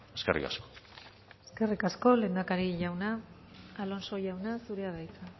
eskerrik asko eskerrik asko lehendakari jauna alonso jauna zurea da hitza